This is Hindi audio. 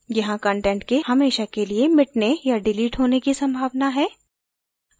यहाँ कंटेंट के हमेशा के लिए मिटने या डिलीट होने की संभावना है